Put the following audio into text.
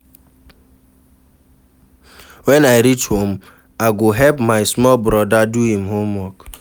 Wen I reach home, I go help my small broda do im homework.